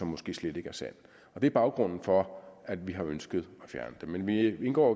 måske slet ikke er sand og det er baggrunden for at vi har ønsket at fjerne det men vi indgår